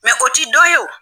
o t'i dɔ ye o.